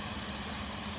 Qaç, qaç.